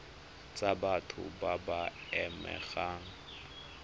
tsa batho ba ba amegang